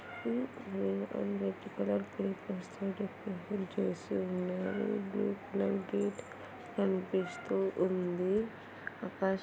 hmm green and red colour papers తో చేసి ఉన్నారు బ్లూ కలర్ గేట్ కనిపిస్తూ ఉంది ఆకాశం--